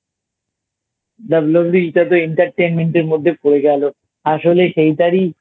WWE টাতো Entertainment এর মধ্যে পড়ে গেল আসলে সেইটারই